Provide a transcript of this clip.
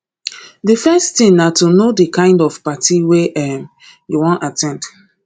di first thing na to know di kind of party wey um you wan at ten d